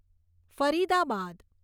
Faridabad